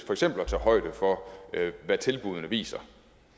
at tage højde for hvad tilbuddene viser